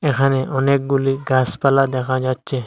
এখানে অনেকগুলি গাছপালা দেখা যাচ্ছে।